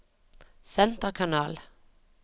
senterkanal